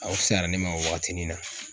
Aw fisayara ne ma waagatinin na.